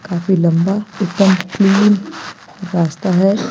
काफी लंबा एक दम क्लीन रास्ता है।